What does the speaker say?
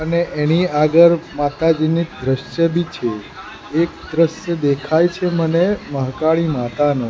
અને એની આગળ માતાજીની દ્રશ્ય બી છે એક દ્રશ્ય દેખાય છે મને મહાકાળી માતાનું.